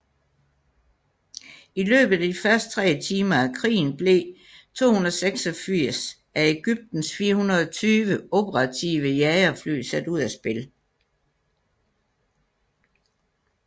I løbet af de første tre timer af krigen blev 286 af Egyptens 420 operative jagerfly sat ud af spil